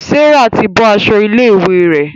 Serah tí bó aṣọ ilé ìwé rẹ.